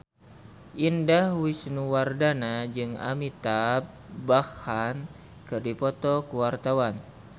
Indah Wisnuwardana jeung Amitabh Bachchan keur dipoto ku wartawan